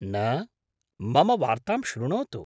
न, मम वार्तां शृणोतु।